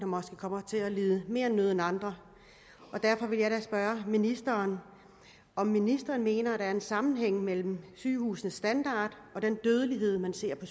måske kommer til at lide mere nød end andre og derfor vil jeg da spørge ministeren om ministeren mener der er en sammenhæng mellem sygehusenes standard og den dødelighed man ser på